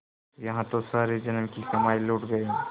यहाँ तो सारे जन्म की कमाई लुट गयी